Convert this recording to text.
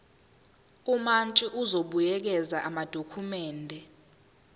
umantshi uzobuyekeza amadokhumende